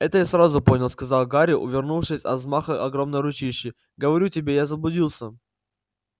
это я сразу понял сказал гарри увернувшись от взмаха огромной ручищи говорю тебе я заблудился